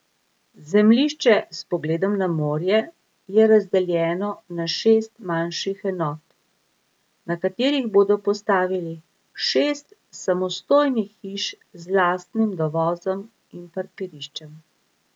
Zemljišče s pogledom na morje je razdeljeno na šest manjših enot, na katerih bodo postavili šest samostojnih hiš z lastnim dovozom in parkiriščem.